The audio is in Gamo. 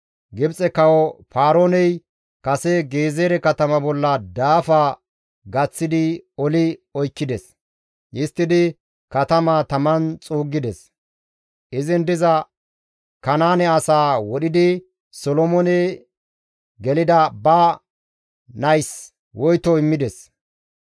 Gibxe kawo Paarooney kase Gezeere katama bolla daafa gaththidi oli oykkides; histtidi katamaa taman xuuggides; izin diza Kanaane asaa wodhidi Solomoone gelida ba nays woyto immides;